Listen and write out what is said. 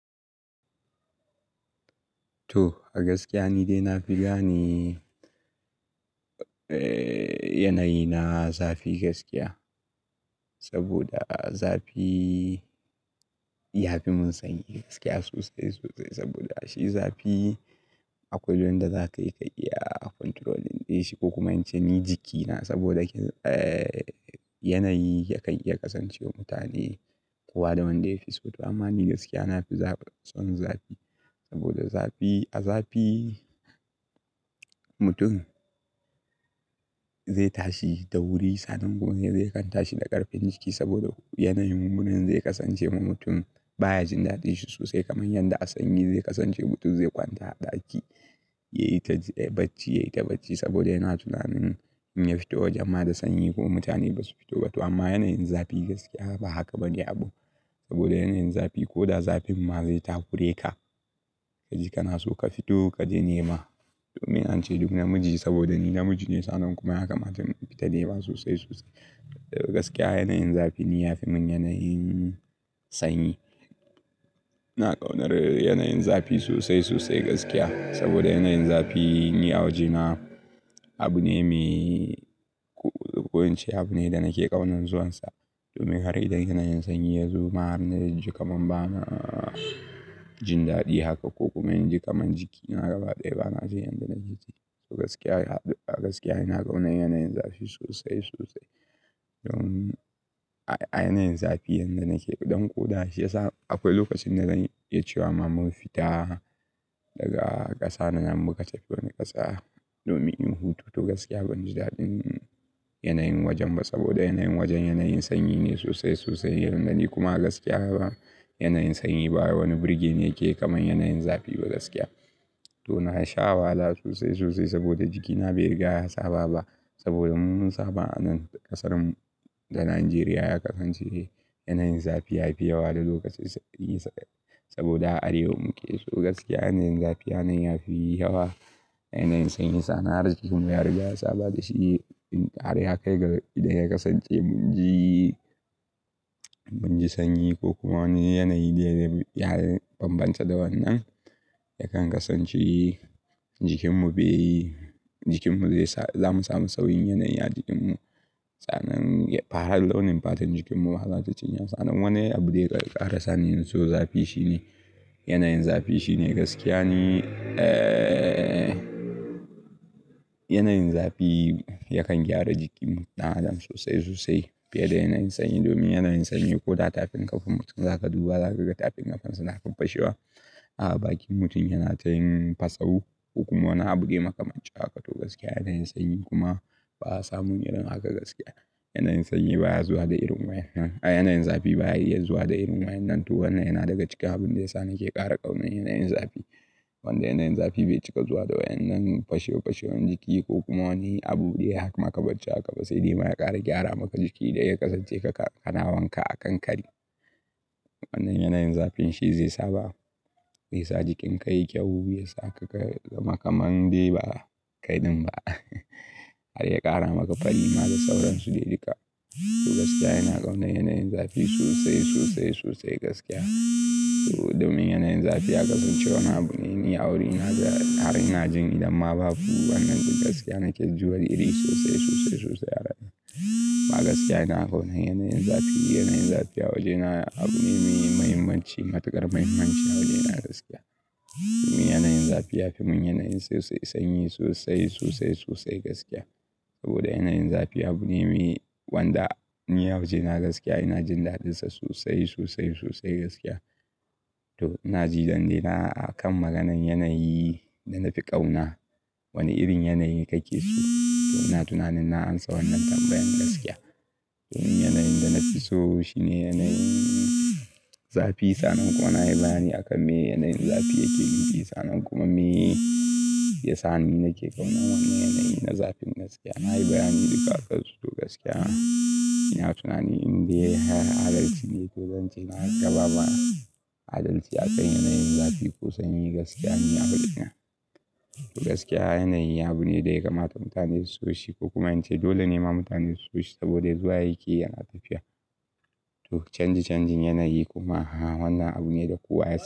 To, gaskiya ni dai na fi gani, eh, yanayi na zafi gaskiya. Saboda zafi ya fi mun sanyi gaskiya sosai, sosai. Saboda shi zafi akwai wanda za ka iya ka iya control ɗin shi ko kuma in ce ni jikina saboda yanayi yakan iya kasancewa mutane kowa da wanda ya fi so. To amma ni gaskiya na fi za son zafi saboda zafi, a zafi mutum zai tashi da wuri, sannan kuma zai kan tashi da ƙarfin jiki saboda yanayin hunin zai kasance ma mutum baya jin daɗin shi sosai kamar yadda a sanyi zai kasance mutum zai kwanta a ɗaki, ya yi ta bacci, ya yi ta bacci saboda yana tunanin in ya fito waje ma da sanyi ko mutane ba su fito ba. To amma yanayin zafi gaskiya ba haka bane abun, saboda yanayin zafi ko da zafin ma zai takure ka. Ka ji ka na so ka fito ka je nema domin an ce duk namiji saboda ni namiji ne sannan kuma ya kamata mu fita nema sosai, sosai. Gaskiya yanayin zafi ni ya fi mun yanayin sanyi. Ina ƙaunar yanayin zafi sosai, sosai gaskiya saboda yanayin zafi ni a wajena abu ne mai, ko in ce abu ne da nake ƙaunan zuwansa domin har idan yanayin sanyi ya zo ma har na ji kaman bana jin daɗi haka ko kuma in ji kaman jikina gaba ɗaya ba na ji yadda na ji. To gaskiya, gaskiya ina ƙauna yanayin zafi sosai, sosai. Don a, a yanayin zafi yadda nake ƙodan ƙoda shi ya sa akwai lokacin da zan iya cewa ma mun fita daga ƙasana muka tafi wani ƙasa domin in hutu to gaskiya ban ji daɗin yanayin wajen ba saboda yanayin wajen yanayin sanyi ne sosai, sosai. Yadda ni kuma gaskiya ba yanayin sanyi baya wani birge ni kamar yanayin zafi ba gaskiya. To na sha wahala sosai, sosai saboda jikina bai riga ya saba ba saboda mun saba a nan ƙasar mu da Najeriya ya kasance yanayin zafi yafi yawa da lokatai saboda Arewa muke so gaskiya yanayin zafi yanayi yafi yawa. Yanayin sanyi sannan har jikin mu ya riƙa yasa ba da shi in har ya kai ga idan ya kasance mun ji, mun ji sanyi ko kuma wani yanayi dai dai ya bambanta da wannan yakan kasance jikin mu bai, jikin mu zai sa, za mu samu sauyin yanayi a jikin mu. Tsanan, farar launin fatan jikin mu bazata cinye ba sannan wani abu dai ƙara sani in so zafi shine. Yanayin zafi shine gaskiya ni, eh, yanayin zafi yakan gyara jikin ɗan adam sosai, sosai fiye da yanayin sanyi domin yanayin sanyi ko da tafin ƙafan mutum za ka duba za ka ga tafin ƙafan sa na kan fashewa. A baki mutum yana ta yin fasawo ko kuma wani abun dai makamanci haka to gaskiya yanayin sanyi kuma ba sa mun irin haka gaskiya. Yanayin sanyi baya zuwa da irin waya, yanayin zafi baya iya zuwa da irin waya nan. To wannan yana daga ciki abun da ya sa nake ƙara ƙauna yanayin zafi. Wanda yanayin zafi bai cika zuwa da wayen nan fashewar fashewar jiki ko kuma wani abu dai ya maka bacci haka ba sai dai ma ya ƙara gyara maka jiki da ya kasance ka, ka na wanka a kan kari. Wannan yanayin zafin shi zai saba, zai sa jikin ka yayi kyau, ya saka ka zama kamar dai ba kai ɗin ba. Har ya ƙara maka farima da sauransu dai duka. To gaskiya ina ƙauna yanayin zafi sosai, sosai, sosai gaskiya. To domin yanayin zafi ya kasance wani abu ne, ni a wurina da har ina jin idan ma babu wannan to gaskiya nake ji wani irin sosai, sosai, sosai har ana. Ma gaskiya ina ƙaunan yanayin zafi, yanayin zafi a wajena abu ne mai mahimmanci, matuƙar muhimmanci a wajena gaskiya. Domin yanayin zafi ya fi mun yanayin sosai sanyi sosai, sosai, sosai gaskiya saboda yanayin zafi abu ne mai wanda ni a wajena gaskiya ina jin daɗin sa sosai, sosai, sosai gaskiya. To ina ji zan daina a kan maganan yanayi da na fi ƙauna wani irin yanayi kake so? To ina tunanin na ansa wannan tambayan gaskiya. Domin yanayin da na fi so shi ne yanayin zafi sannan kuma ina yi bani a kan me yanayin zafi yake nufi sannan kuma me ya sa ni nake ƙauna wannan yanayi na zafin gaskiya. Na yi bayani duka aƙansu to gaskiya ina tunanin in dai har adalci ne to zancen na har ƙaɓa ba adalci a kan yanayin zafi ko sanyi gaskiya ni a wajena. To gaskiya yanayi abu ne da ya kamata mutane su so shi ko kuma in ce dole ne ma mutane su so shi saboda zuwa yake yana tafiya. To canji canjin yanayi kuma wannan abu ne da kowa ya.